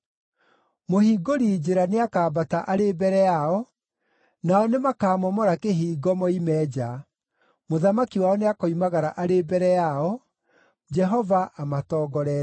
Mũhingũri njĩra, nĩakambata arĩ mbere yao; nao nĩmakamomora kĩhingo moime nja. Mũthamaki wao nĩakoimagara arĩ mbere yao, Jehova amatongoretie.”